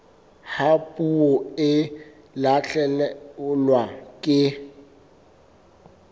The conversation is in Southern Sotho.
ha puo e lahlehelwa ke